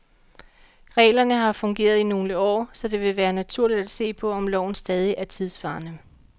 Reglerne har fungeret i nogle år, så det vil være naturligt at se på, om loven stadig er tidsvarende.